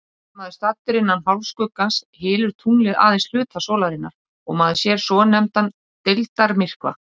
Sé maður staddur innan hálfskuggans, hylur tunglið aðeins hluta sólarinnar og maður sér svonefndan deildarmyrkva.